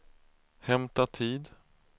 hämta tid